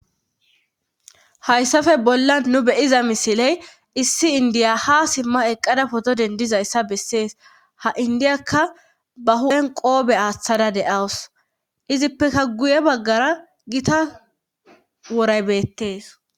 Hayssafe bollan nu beyiza misiley issi indiya ha simma eqqada poto dendizayssa bessees ha indiyakka ba hu7en qoobe aaththada deawus izippeka guye baggara gita woraybeettees